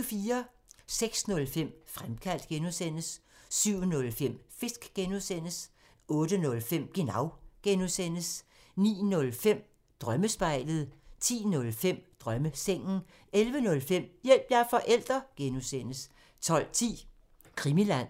06:05: Fremkaldt (G) 07:05: Fisk (G) 08:05: Genau (G) 09:05: Drømmespejlet 10:05: Drømmesengen 11:05: Hjælp – jeg er forælder! (G) 12:10: Krimiland